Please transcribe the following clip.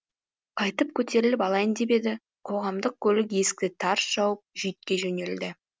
қайтып көтеріліп алайын деп еді қоғамдық көлік есікті тарс жауып жүйткей жөнелді